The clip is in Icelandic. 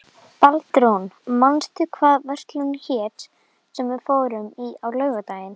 Baldrún, manstu hvað verslunin hét sem við fórum í á laugardaginn?